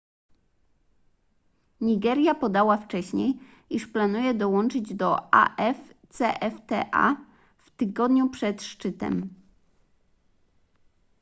nigeria podała wcześniej iż planuje dołączyć do afcfta w tygodniu przed szczytem